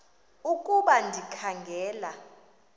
ukuba ndikha ngela